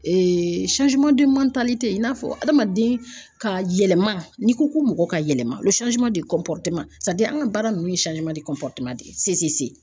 i n'a fɔ adamaden ka yɛlɛma n'i ko ko mɔgɔ ka yɛlɛma an ka baara ninnu ye de ye